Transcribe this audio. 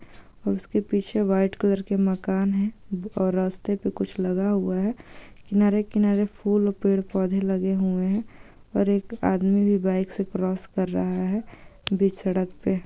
उसके पीछे white colour के माकन है और रास्ते पे कुछ लगा हुवा ह फुल पेड़ पोधे लगे हुऐ है और एक आदमी भी बाइक से क्रोस कर रहा है--